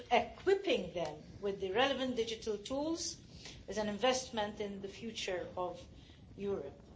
Equipping them with the relevant digital tools is an investment in the future of Europe.